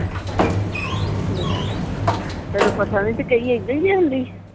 ਲਿਆ ਤੈਨੂੰ ਪਤਾ ਨਹੀਂ ਤੇ ਕਹੀ ਇੱਦਾਂ ਹੀ ਜਾਂਦੀ